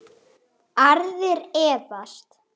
Aðrir efast.